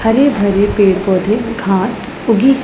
हरे भरे पेड़ पौधे घास उगी--